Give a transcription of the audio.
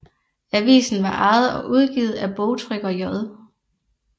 Avisen var ejet og udgivet af bogtrykker J